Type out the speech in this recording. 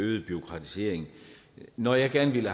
øgede bureaukratisering når jeg gerne ville